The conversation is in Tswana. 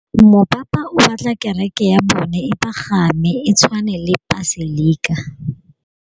Mopapa o batla kereke ya bone e pagame, e tshwane le paselika.